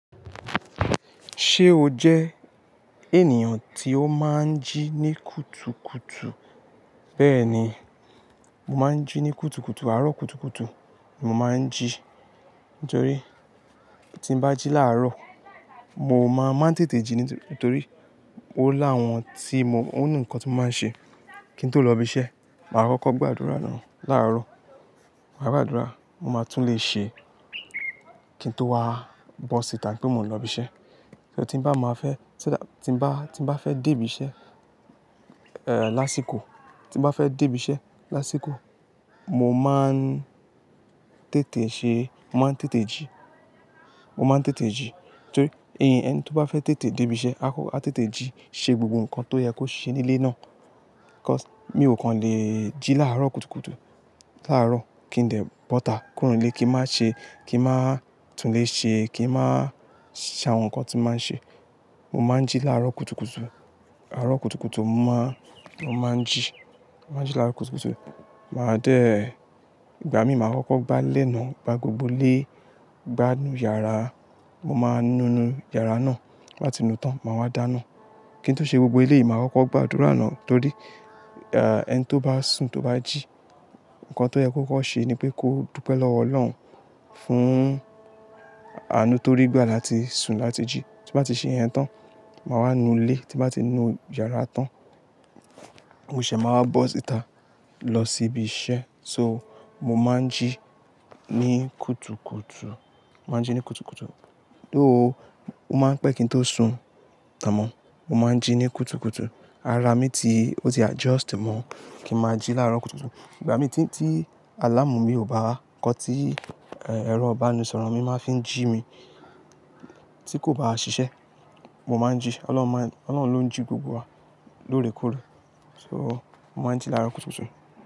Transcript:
Ṣé o jẹ ènìyàn tí ó máa ń jí ní kùtùkùtù? Bẹ́ẹ̀ni, mo máa ń jí ní kùtùkùtù, àárọ̀ kùtùkùtù mo máa ń jí. Nítorí tí ń bá jí láàárọ̀, mo máa máa ń tètè jí nítorí ó láàwọn tí mo-- ó nìkan tí mo máa ṣe kí n tó lọ ibi iṣẹ́. Mà á kọ́kọ́ gbàdúrà náà làárọ̀. Mà á gbàdúrà, mo máa tún lè ṣe kí n tó wá bọ́ síta pé mo ń lọ ibi iṣẹ́. Tí ń bá máa fẹ́, tí ń bá, tí ń bá fẹ́ dé ibi iṣẹ́, lásìkò, tí ń bá fẹ́ dé ibi iṣẹ́ lásìkò, mo máa ń tètè ṣe, mo máa ń tètè jí. Mo máa ń tètè jí. Nítorí ẹni tí ó bá fẹ́ tètè dé ibi iṣẹ́, a tètè jí, ṣe gbogbo nǹkan tó yẹ kó ṣe ní ilé náà. Mi ò kan lè jí láàárọ̀ kùtùkùtù. Làárọ̀ kí n dẹ̀ bọ́ta kúrò nílé kí n má ṣe, kí n má tún lè ṣe, kí n má ṣe àwọn nǹkan tí n máa ṣe. Mo máa ń jí láàárọ̀ kùtùkùtù. Àárọ̀ kùtùkùtù mo má, mo máa ń jí. Mo máa ń jí láàárọ̀ kùtùkùtù. Mà á dé, ìgbà mi, mà á kọ́kọ́ gbà lénàá, gbà gbogbo ilé, gbá inú yàrá, mo máa nu inú yàrá náà tí ń bá ti nu tán, màá wá dáná. Kí n tó ṣe gbogbo èléyìí, mà á kọ́kọ́ gbàdúrà náà torí, ẹni tí ó bá sùn, tí ó bá jí, nǹkan tí ó yẹ kọ́kọ́ ṣe ni pé kó dúpẹ́ lọ́wọ́ Ọlọ́run fún àánú tó rí gbà láti sùn láti jí. Tí mo bá ti ṣe iyẹn tán, màá wá nu ilé, tí mo bá ti nu yàrá tán, mo ṣẹ̀ máa wá bọ́ síta lọ sí ibi iṣẹ́. So, mo máa ń jí ní kùtùkùtù. Mo máa ń jí ní kùtùkùtù. Though, ó máa ń pẹ́ kí n tó sùn tán mọ́. Mo máa ń jí ní kùtùkùtù. Ara mi ti, ó ti adjust mọ́ kí n máa jí láàárọ̀ kùtùkùtù. Ìgbà mí tí, tí alámù mi ò bá, nǹkan tí, ẹ̀rọ ìbánisọ̀rọ̀ mi máa fi ń jí mi tí kò bá ṣiṣẹ́, mo máa ń jí. Ọlọ́run máa ń, Ọlọ́run ló ń jí gbogbo wa lóòrèkóòrè. So, mo máa ń jí láàárọ̀ kùtùkùtù.